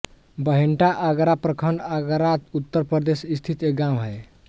बहेन्टा आगरा प्रखंड आगरा उत्तर प्रदेश स्थित एक गाँव है